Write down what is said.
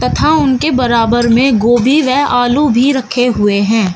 था उनके बराबर में गोबी वे आलू भी रखे हुए है।